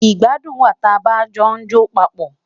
Igbàdùn wa tà bá jo jọ pápọ